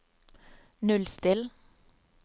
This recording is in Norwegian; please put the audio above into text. nullstill